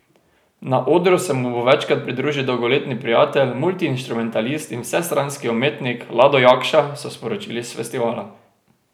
Na odru se mu bo večkrat pridružil dolgoletni prijatelj, multiinštrumentalist in vsestranski umetnik Lado Jakša, so sporočili s festivala.